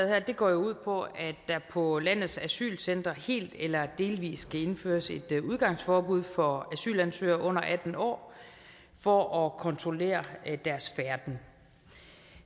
her går jo ud på at der på landets asylcentre helt eller delvis skal indføres et udgangsforbud for asylansøgere under atten år for at kontrollere deres færden